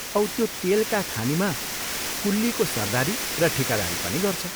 औ त्यो तेलका खानिमा कुल्लीको सरदारी र ठीकादारी पनि गर्छ।